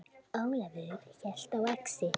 Ólafur hélt á exi.